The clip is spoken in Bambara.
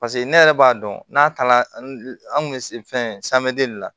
paseke ne yɛrɛ b'a dɔn n'a taara an kun be fɛn la